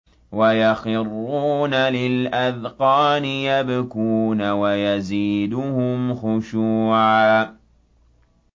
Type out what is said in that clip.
وَيَخِرُّونَ لِلْأَذْقَانِ يَبْكُونَ وَيَزِيدُهُمْ خُشُوعًا ۩